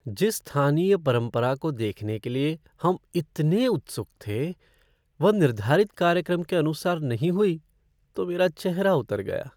जिस स्थानीय परंपरा को देखने के लिए हम इतने उत्सुक थे, वह निर्धारित कार्यक्रम के अनुसार नहीं हुई तो मेरा चेहरा उतर गया ।